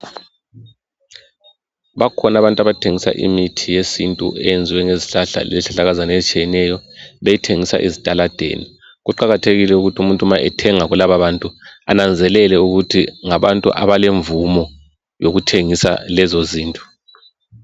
Bakhona abantu abathengisa imithi yesintu eyenziwe ngezihlahla lezihlahlakazana ezitshiyeneyo beyithengisa ezitaladeni. Kuqakathekile ukuthi umuntu nxa bethenga kulababantu ananzelele ukuthi ngabantu abalemvumo yokuthengisa lezo zinto